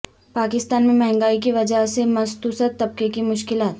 پاکستان میں مہنگائی کی وجہ سے متوسط طبقے کی مشکلات